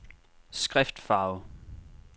skriftfarve